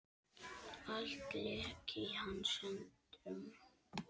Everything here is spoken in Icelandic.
Allt lék í hans höndum.